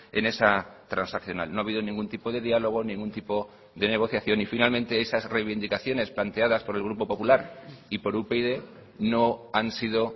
en esa transaccional no ha habido ningún tipo de diálogo ningún tipo de negociación y finalmente esas reivindicaciones planteadas por el grupo popular y por upyd no han sido